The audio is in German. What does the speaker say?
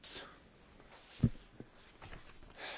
Herr Präsident, liebe Kolleginnen und Kollegen!